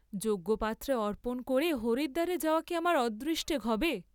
যোগ্য পাত্রে অর্পণ ক’রে হরিদ্বারে যাওয়া কি আমার অদৃষ্টে ঘবে?